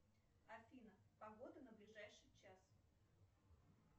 афина погода на ближайший час